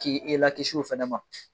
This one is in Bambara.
K'i i lakisi o fɛnɛ ma